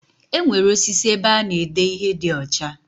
Enwere osis ebe ana ede ihe di ocha.